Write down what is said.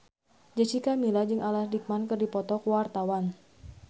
Jessica Milla jeung Alan Rickman keur dipoto ku wartawan